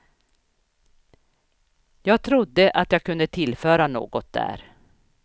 Jag trodde att jag kunde tillföra något där.